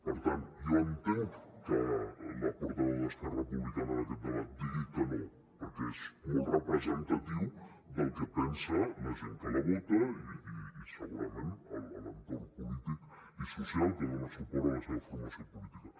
per tant jo entenc que la portaveu d’esquerra republicana en aquest debat digui que no perquè és molt representatiu del que pensa la gent que la vota i segurament l’entorn polític i social que dona suport a la seva formació política